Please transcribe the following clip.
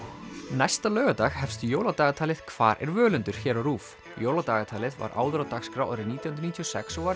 næsta laugardag hefst jóladagatalið hvar er Völundur hér á RÚV jóladagatalið var áður á dagskrá árið nítján hundruð níutíu og sex og var